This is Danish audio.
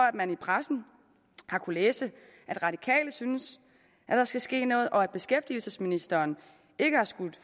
at man i pressen har kunnet læse at radikale synes at der skal ske noget og at beskæftigelsesministeren ikke har skudt